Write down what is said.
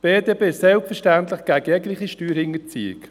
Die BDP ist selbstverständlich gegen jegliche Steuerhinterziehung.